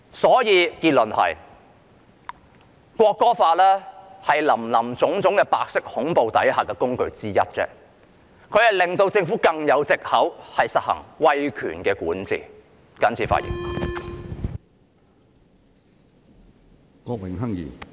所以，結論就是，《條例草案》是白色恐怖下的工具之一，讓政府有更多藉口實行威權管治。